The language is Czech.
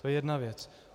To je jedna věc.